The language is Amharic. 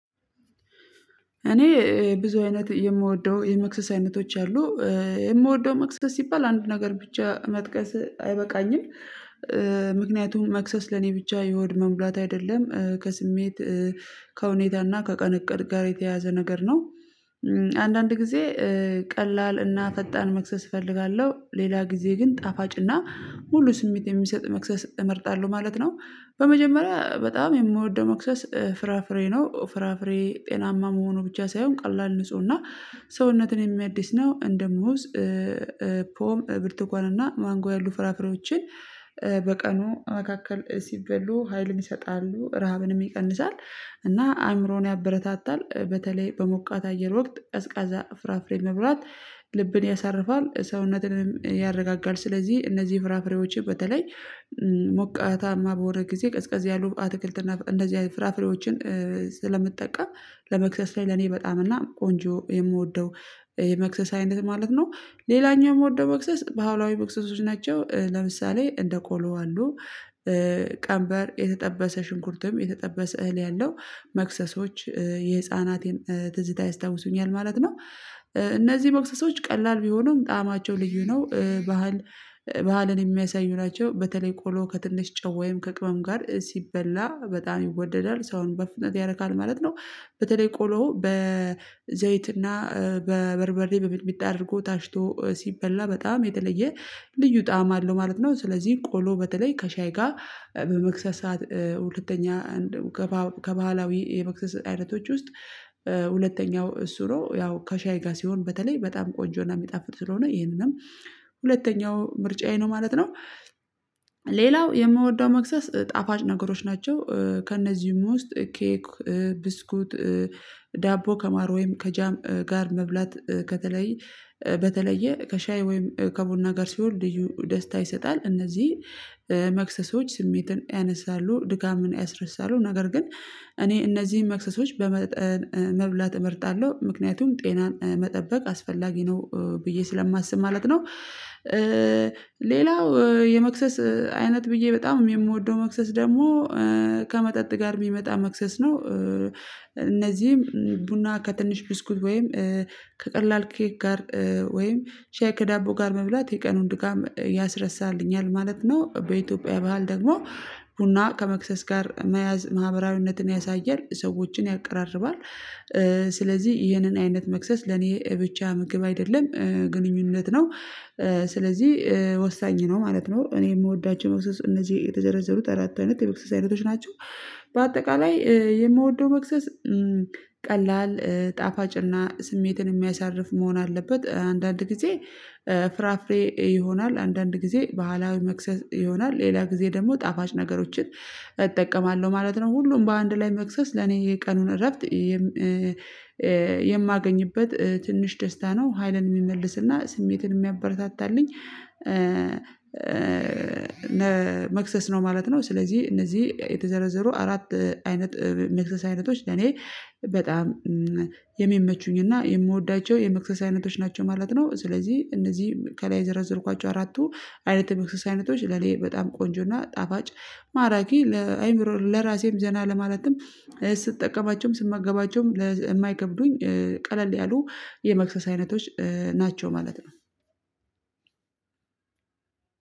እኔ ብዙ አይነት የምወደው የመክሰስ አይነቶች አሉ። የምወደው መክሰስ ሲባል አንድ ነገር ብቻ መጥቀስ አይበቃኝም። ምክንያቱም መክሰስ ለኔ ብቻ የሆድ መሙላት አይደለም ከስሜት ከሁኔታና ከቀን እቅድ ጋር የተያያዘ ነገር ነው። አንዳንድ ጊዜ ቀላል እና ፈጣን መክሰስ እፈልጋለሁ ሌላ ጊዜ ግን ጣፋጭ እና ሙሉ ስሜት የሚሰጥ መክሰስ እመርጣለሁ ማለት ነው። በመጀመሪያ በጣም የምወደው መክሰስ ፍራፍሬ ነው። ፍራፍሬ ጤናማ መሆኑ ብቻ ሳይሆን ቀላል ንጹህ እና ሰውነትን የሚያዲስ ነው። እንደሙዝ ፖም ብርተኳን ማንጎ ያሉ ፍራፍሬዎችን በቀኑ መካከል ሲበሉ ሀይልን ይሰጣሉ ረሃብንም ይቀንሳል። እና አእምሮን ያበረታታል በተለይ በሞቃት አየር ወቅት ቀዝቃዛ ፍራፍሬ መብላት ልብን ያሳርፋል ሰውነትንም ያረጋጋል። ስለዚህ እነዚህ ፍራፍሬዎችን በተለይ ሞቃታማ በወሆነ ጊዜ ቀዝቃዝ ያሉ አትክልትና እንደዚህ አይነት ፍራፍሬዎችን ስለምጠቀም ለመክሰስ ላይ ለኔ በጣም እና ቆንጆ የምወደው የመክሰስ አይነት ማለት ነው። ሌላኛው የምወደው መክሰስ ባህላዊ መክሰሶች ናቸው። ለምሳሌ እንደ ቆሎ አሉ ቀንበር የተጠበሰ ሽንኩርትም የተጠበሰ እህል ያለው መክሰሶች የህፃናቴን ትዝታ ያስታውሱኛል ማለት ነው። እነዚህ መክሰሶች ቀላል ቢሆኑም ጣዕማቸው ልዩ ነው ባህል ባህልን የሚያሳዩ ናቸው። በተለይ ቆሎ ከትንሽ ጨው ወይም ከቅመም ጋር ሲበላ በጣም ይወደዳል ሰውን በፍጥነት ያረካል ማለት ነው። በተለይ ቆሎ በዘይትና በበርበሬ በሚጥሚጣ አድርጎ ታሽቶ ሲበላ በጣም የተለየ ልዩ ጣዕም አለው ማለት ነው። ስለዚህ ቆሎ በተለይ ከሻይ ጋር በመክሰስ ሰዓት ሁለተኛ ከባህላዊ የመክሰስ አይነቶች ውስጥ ሁለተኛው እሱ ነው ያው ከሻይ ጋር ሲሆን በተለይ በጣም ቆንጆና የሚጣፍጥ ስለሆነ ይሄንንም ሁለተኛው ምርጫዬ ነው ማለት ነው። ሌላው የምወደው መክሰስ ጣፋጭ ነገሮች ናቸው። ከእነዚህም ውስጥ ኬክ ብስኩት ዳቦ ከማር ወይም ከጃም ጋር መብላት ከተለይ በተለየ ከሻይ ወይም ከቡና ጋር ሲሆን ልዩ ደስታ ይሰጣል። እነዚህ መክሰሶች ስሜትን ያነሳሉ ድካምን ያስረሳሉ ነገር ግን እኔ እነዚህን መክሰሶች በመብላት እመርጣለሁ ምክንያቱም ጤናን መጠበቅ አስፈላጊ ነው ብዬ ስለማስብ ማለት ነው። ሌላው የመክሰስ አይነት ብዬ በጣም የምወደው መክሰስ ደግሞ ከመጠጥ ጋር የሚመጣ መክሰስ ነው። እነዚህም ቡና ከትንሽ ብስኩት ወይም ከቀላል ኬክ ጋር ወይም ሼይ ከዳቦ ጋር መብላት የቀኑን ድካም ያስረሳልኛል ማለት ነው። በኢትዮጵያ ባህል ደግሞ ቡና ከመክሰስ ጋር መያዝ ማህበራዊነትን ያሳያል ሰዎችን ያቀራርባል። ስለዚህ ይህንን አይነት መክሰስ ለኔ ብቻ ምግብ አይደለም ግንኙነት ነው። ስለዚህ ወሳኝ ነው ማለት ነው። እኔ የምወዳችሁ እነዚህ የተጀረዘሩት አራት አይነት የመክሰስ አይነቶች ናቸው። በአጠቃላይ የምወደው መክሰስ ቀላል ጣፋጭና ስሜትን የሚያሳርፍ መሆን አለበት። አንዳንድ ጊዜ ፍራፍሬ ይሆናል አንዳንድ ጊዜ ባህላዊ መክሰስ ይሆናል ሌላ ጊዜ ደግሞ ጣፋጭ ነገሮችን እጠቀማለሁ ማለት ነው። ሁሉም በአንድ ላይ መክሰስ ለኔ የቀኑን እረፍት የማገኝበት ትንሽ ደስታ ነው። ሀይልን የሚመልስና ስሜትን የሚያበረታታልኝ መክሰስ ነው ማለት ነው። ስለዚህ እነዚህ የተዘረዘሩ አራት አይነት መክሰስ አይነቶች ለኔ በጣም የሚመቹኝና የምወዳቸው የመክሰስ አይነቶች ናቸው ማለት ነው። ስለዚህ እነዚህ ከላይ ዘረዝርኳቸው አራቱ አይነት የመክሰስ አይነቶች ለኔ በጣም ቆንጆና ጣፋጭ ማራኪ ለአእምሮ ለራሴም ዘና ለማለትም ስትጠቀማቸውም ስምገባቸውም የማይከብዱኝ ቀለል ያሉ የመክሰስ አይነቶች ናቸው። ማለት ነው።